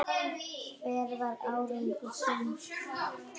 Hver var árangur þinn?